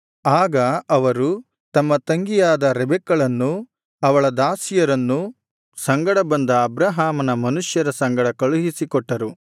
ಆಗ ಅವರು ತಮ್ಮ ತಂಗಿಯಾದ ರೆಬೆಕ್ಕಳನ್ನೂ ಅವಳ ದಾಸಿಯರನ್ನು ಸಂಗಡ ಬಂದ ಅಬ್ರಹಾಮನ ಮನುಷ್ಯರ ಸಂಗಡ ಕಳುಹಿಸಿ ಕೊಟ್ಟರು